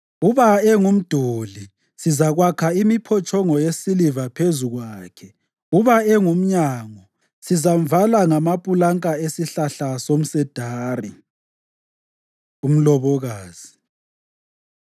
Uba engumduli, sizakwakha imiphotshongo yesiliva phezu kwakhe. Uba engumnyango, sizamvala ngamapulanka esihlahla somsedari. Umlobokazi